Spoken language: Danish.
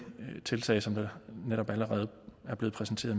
tiltag som netop allerede er blevet præsenteret